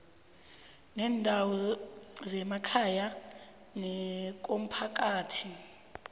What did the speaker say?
kweendawo zemakhaya nekomphakathi